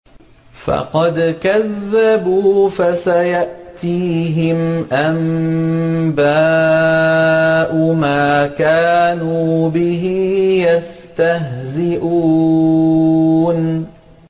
فَقَدْ كَذَّبُوا فَسَيَأْتِيهِمْ أَنبَاءُ مَا كَانُوا بِهِ يَسْتَهْزِئُونَ